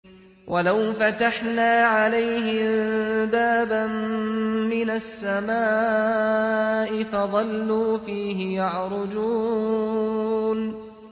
وَلَوْ فَتَحْنَا عَلَيْهِم بَابًا مِّنَ السَّمَاءِ فَظَلُّوا فِيهِ يَعْرُجُونَ